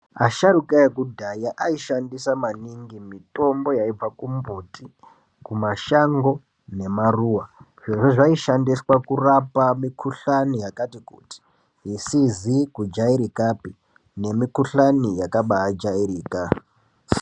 Asharuka ekudhaya aishandisa maningi mitombo yaibva kumbuti, kumashango, nemaruwa. Zvirozvo zvaishandiswa kurapa mikhuhlani yakati kuti, isizi kujairikapi nemikhuhlani yakabaajairika.